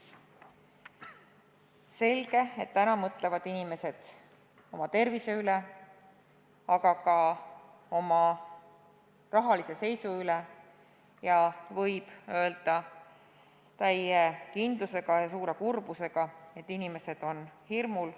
Selge see, et täna mõtlevad inimesed oma tervise peale, aga ka oma rahalise seisu peale, ning võib täie kindluse ja suure kurbusega öelda, et inimesed on hirmul.